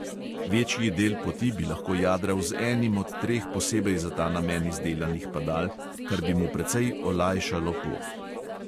Večji del poti bi lahko jadral z enim od treh posebej za ta namen izdelanih padal, kar bi mu precej olajšalo pot.